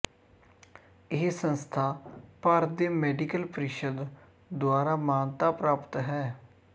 ਇਹ ਸੰਸਥਾ ਭਾਰਤ ਦੇ ਮੈਡੀਕਲ ਪ੍ਰੀਸ਼ਦ ਦੁਆਰਾ ਮਾਨਤਾ ਪ੍ਰਾਪਤ ਹੈ